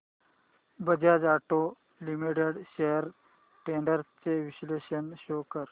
Bajaj auto limited shares trends चे विश्लेषण show कर